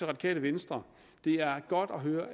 radikale venstre det er godt at høre